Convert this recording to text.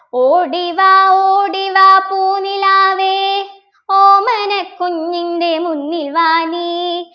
ഓടിവാ ഓടിവാ പൂനിലാവേ ഓമനക്കുഞ്ഞിൻ്റെ മുന്നിൽ വാ നീ